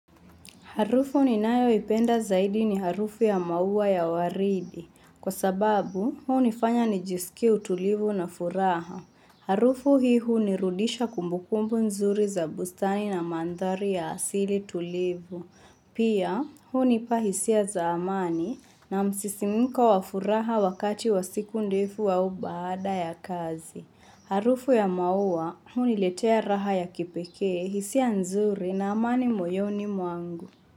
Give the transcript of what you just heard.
Harufu ninayoipenda zaidi ni harufu ya maua ya waridi. Kwa sababu, hunifanya nijisikie utulivu na furaha. Harufu hii hunirudisha kumbukumbu nzuri za bustani na mandhari ya asili tulivu. Pia, hunipa hisia za amani na msisimko wa furaha wakati wa siku ndefu au baada ya kazi. Harufu ya maua huniletea raha ya kipekee, hisia nzuri na amani moyoni mwangu.